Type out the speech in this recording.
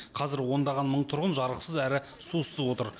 қазір ондаған мың тұрғын жарықсыз әрі сусыз отыр